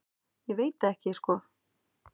Ég veit það ekki sko.